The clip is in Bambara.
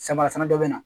Samarafɛn dɔ bɛ na